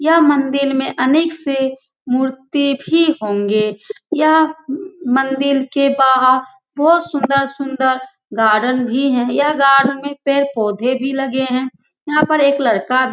यह मंदिल में अनेक से मूर्ति भी होंगे यह मंदिल के बाहर बहुत सुन्दर-सुन्दर गार्डन भी है यहां गार्डेन में पेड़-पौधे भी लगे है यहां पर एक लड़का --